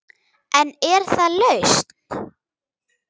En er það lausn?